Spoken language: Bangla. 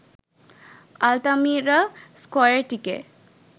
আলতামিরা স্কয়ারটিকে